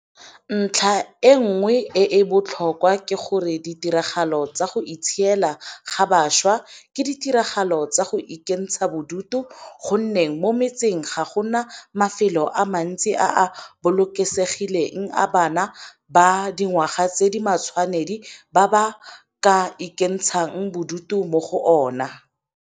Ntlha e nngwe e e botlhokwa ke gore ditiragalo tsa go itshiela ga bašwa ke ditiragalo tsa go ikentsha bodutu go nne mo metseng ga go na mafelo a mantsi a a bolokesegileng a bana ba dingwaga tse di matshwanedi ba ka ikentshang bodutu mo go ona.